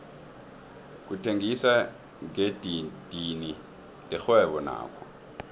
ukuthengisa ngedidini lirhwebo nakho